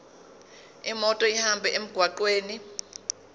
imoto ihambe emgwaqweni